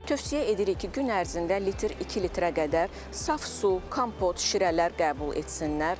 Tövsiyə edirik ki, gün ərzində litr, 2 litrə qədər saf su, kompot, şirələr qəbul etsinlər.